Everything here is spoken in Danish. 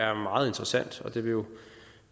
er meget interessant og det vil jo